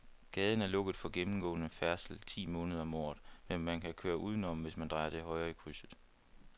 Gaden er lukket for gennemgående færdsel ti måneder om året, men man kan køre udenom, hvis man drejer til højre i krydset.